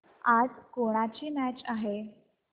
आज कोणाची मॅच आहे